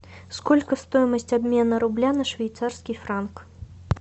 сколько стоимость обмена рубля на швейцарский франк